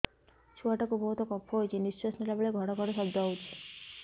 ଛୁଆ ଟା କୁ ବହୁତ କଫ ହୋଇଛି ନିଶ୍ୱାସ ନେଲା ବେଳେ ଘଡ ଘଡ ଶବ୍ଦ ହଉଛି